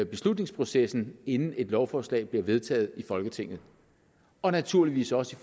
beslutningsprocessen inden et lovforslag bliver vedtaget i folketinget og naturligvis også